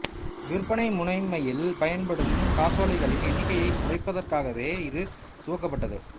விற்பனை முனைமையில் பயன்படும் காசோலைகளின் எண்ணிக்கையைக் குறைப்பதற்காகவே இது துவக்கப்பட்டது